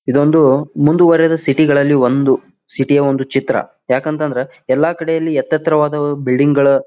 ಇದೊಂದು ಮುಂದುವರಿದ ಸಿಟಿ ಗಳಲ್ಲಿ ಒಂದು ಸಿಟಿ ಯ ಒಂದು ಚಿತ್ರ. ಯಾಕಂತಂದ್ರ ಯಲ್ಲಾಕಡೆ ಎತ್ತೆತ್ತರವಾದ ಬಿಲ್ಡಿಂಗ್ ಗಳ --